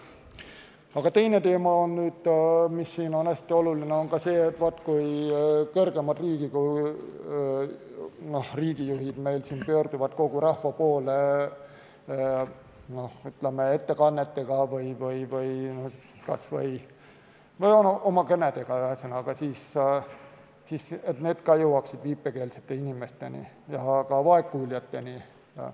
Aga teine teema, mis on hästi oluline, on ka see, et kui kõrgemad riigijuhid pöörduvad kogu rahva poole kas või oma kõnedega, siis need peaksid jõudma viipekeelsete inimesteni ja ka vaegkuuljateni.